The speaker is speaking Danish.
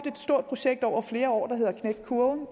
stort projekt over flere år der hedder knæk kurven